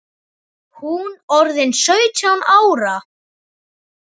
Hún orðin sautján ára.